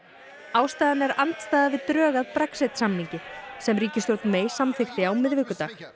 ástæðan er andstaða við drög að Brexit samningi sem ríkisstjórn May samþykkti á miðvikudag